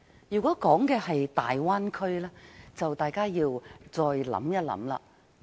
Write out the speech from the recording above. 如果說的是大灣區，大家便要考慮一下。